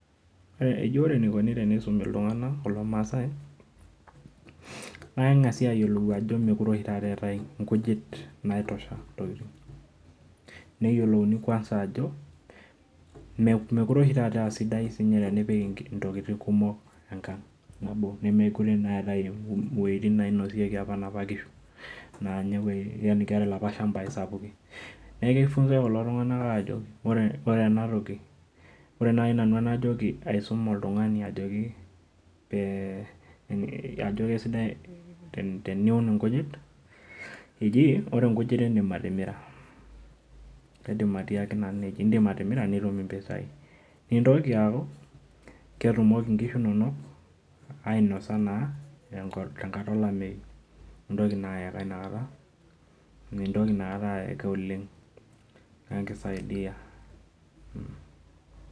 Ore enikuni peisumi ltunganak, kulo maasai naa kengasi ayiolou ajo mekute oshi taata eetae nkujit naitosha neyiolouni kwanza ajo mekute oshi taata asidai tenipik ntokitin kumok enkang nabo ore na eetae woitin apa nainotieki apa nona kishu na keetae laapa shambai sapukin, neaku kifunzae ltunganak ajo ore enatoki ore nai anajokibaisumboltungani ajo kesidai teniun nkujit, eji ore nkujit indim atimira kaidimi atiaki nanu nejia, indim atimira nitum mpisai, nintoki aaku ketumoki nkishu inonok ainasa tenkata olameyu, nintoki inakata aeka oleng amu kisaidia.